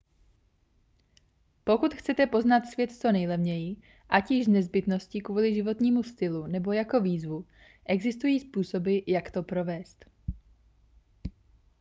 pokud chcete poznat svět co nejlevněji ať již z nezbytnosti kvůli životnímu stylu nebo jako výzvu existují způsoby jak to provést